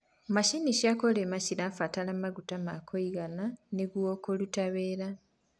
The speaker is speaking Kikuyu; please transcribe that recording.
macinĩ cia kurima cirabatara maguta ma kũigana nĩguo kuruta wira